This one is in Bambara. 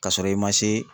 Ka sɔrɔ i ma se